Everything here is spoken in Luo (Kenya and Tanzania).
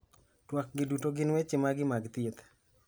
Twak gi duto gin weche magi mag thieth.